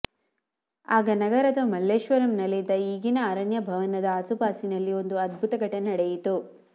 ಆಗ ನಗರದ ಮಲ್ಲೇಶ್ವರಂನಲ್ಲಿದ್ದ ಈಗಿನ ಅರಣ್ಯ ಭವನದ ಆಸು ಪಾಸಿನಲ್ಲಿ ಒಂದು ಅದ್ಭುತ ಘಟನೆ ನಡೆಯಿತು